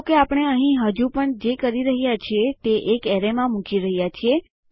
જો કે આપણે અહીં હજુ પણ જે કરી રહ્યા છીએ તે એક એરેયમાં મુકી રહ્યા છીએ